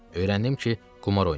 Öyrəndim ki, qumar oynayırlar.